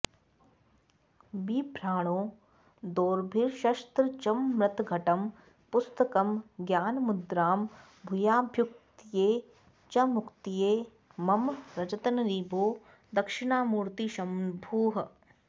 बिभ्राणो दोर्भिरक्षस्त्रजममृतघटं पुस्तकं ज्ञानमुद्रां भूयाद्भुक्त्यै च मुक्त्यै मम रजतनिभो दक्षिणामूर्तिशन्भुः